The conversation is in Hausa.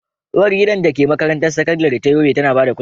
Uwargidan da ke makarantar sakandare ta Yobe tana ba da kulawa.